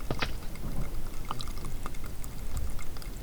про хай теч